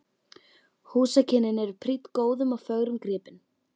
Húsakynnin eru prýdd góðum og fögrum gripum.